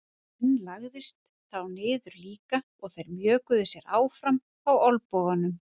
Hinn lagðist þá niður líka og þeir mjökuðu sér áfram á olnbogunum.